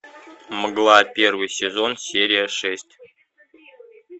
мгла первый сезон серия шесть